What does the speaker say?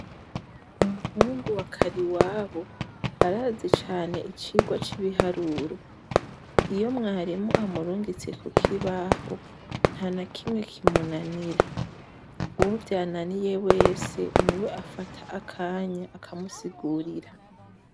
Umuhungu wa Kariwabo arazi cane icigwa c’ibiharuro. Iyo mwarimu amurungitse kukibaho, ntanakimwe kimunanira, Uwo vyananiye wese , niwe afata akanya, akamusigurira.